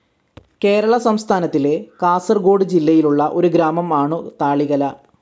കേരള സംസ്ഥാനത്തിലെ, കാസർഗോഡ് ജില്ലയിലുള്ള ഒരു ഗ്രാമം ആണു താളികല.